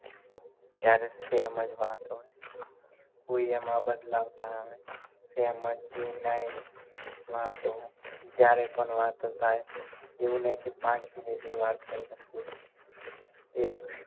ત્યારે same જ વાત હોય કોઈ એમાં બદલાવ ના આવે વાતો જ્યારે પણ વાત થાય એવું નહિ કે પાંચ minute ની વાત કરી ને પૂરી એક